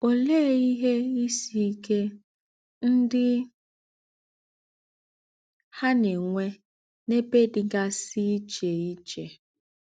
Òlee ìhè ìsì íké ńdị hà na - ènwé n’ēbè dịgásị íché íché?